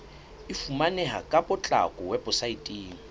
e fumaneha ka potlako weposaeteng